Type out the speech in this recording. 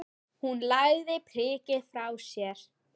Hún lagði prikið frá sér.